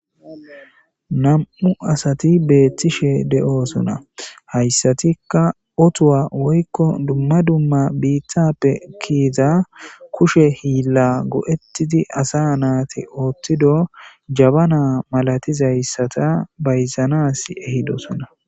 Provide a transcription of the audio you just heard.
Nam7u asati beettishe de7oosona hayssatikka otuwa woykko dumma dumma biittappe kiiza kushe hiilla go7ettidi asa naati ooththido jabana malatizayssata bayzanas ehidosona.